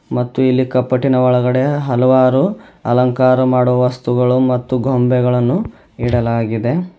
ಮತ್ತು ಇಲ್ಲಿ ಕಪಟಿನ ಒಳಗಡೆ ಹಲವಾರು ಅಲಂಕಾರ ಮಾಡುವ ವಸ್ತುಗಳು ಮತ್ತು ಗೊಂಬೆಗಳನ್ನು ಇಡಲಾಗಿದೆ.